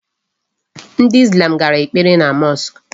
Ndị Islam gara ekpere na mosque.